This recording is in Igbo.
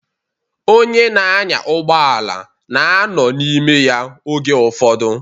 Onye na-anya ụgbọala na-anọ n'ime ya oge ụfọdụ.